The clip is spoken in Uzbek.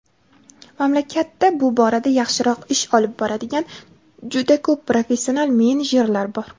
mamlakatda bu borada yaxshiroq ish olib boradigan "juda ko‘p professional menejerlar" bor.